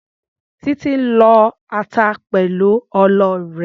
Títí ń lọ ata pẹ̀lú ọlọ rẹ̀.